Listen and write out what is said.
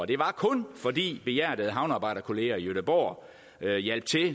det var kun fordi behjertede havnearbejderkolleger i gøteborg hjalp til